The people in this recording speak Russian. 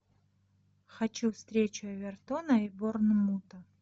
хочу встречу эвертона и борнмута